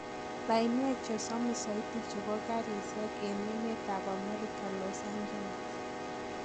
Lainwek chesomis soiti chebo karisiek en emet ab Amerika Los Angeles.